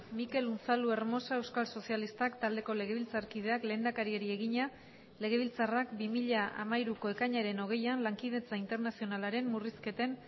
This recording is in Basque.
mikel unzaluhermosa euskal sozialistak taldeko legebiltzarkideak lehendakariari egina legebiltzarrak bi mila hamairuko ekainaren hogeian lankidetza internazionalaren murrizketen